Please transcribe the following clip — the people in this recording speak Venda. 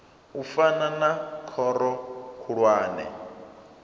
u fana na khoro khulwane